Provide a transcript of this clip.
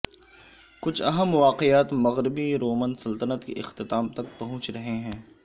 کچھ اہم واقعات مغربی رومن سلطنت کے اختتام تک پہنچ رہے ہیں